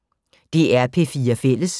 DR P4 Fælles